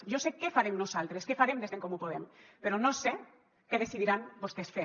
jo sé què farem nosaltres què farem des d’en comú podem però no sé què decidiran vostès fer